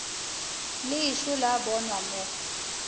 le ešo la bonwa mo